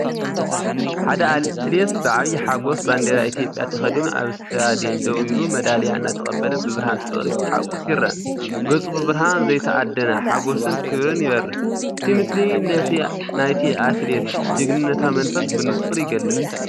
ሓደ ኣትሌት ብዓብይ ሓጎስ ባንዴራ ኢትዮጵያ ተኸዲኑ ኣብ ስታድዮም ደው ኢሉ፣ መዳልያ እናተቐበለ፣ ብብርሃን ፍቕሪ ክሓቑፍ ይረአ። ገጹ ብብርሃን ዘይተኣደነ ሓጎስን ክብርን ይበርህ፤ እቲ ምስሊ ነቲ ናይቲ ኣትሌት ጅግንነታዊ መንፈስ ብንጹር ይገልጽ።